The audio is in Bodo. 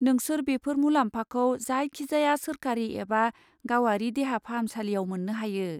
नोंसोर बेफोर मुलाम्फाखौ जायखिजाया सोरखारि एबा गावारि देहा फाहामसालियाव मोननो हायो।